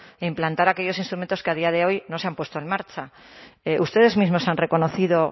e implantar aquellos instrumentos que a día de hoy no se han puesto en marcha ustedes mismos han reconocido